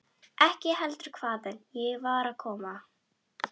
Ekki heldur hvaðan ég var að koma.